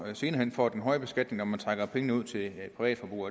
senere hen får den høje beskatning når man trækker pengene ud til privatforbrug